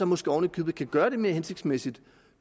måske oven i købet kan gøre det mere hensigtsmæssigt